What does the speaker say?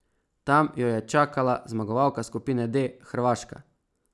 Tam jo je čakala zmagovalka skupine D Hrvaška.